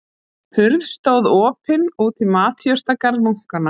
Hurð stóð opin út í matjurtagarð munkanna.